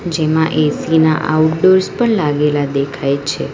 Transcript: જેમાં એ_સી ના આઉટડોર્સ પણ લાગેલા દેખાય છે.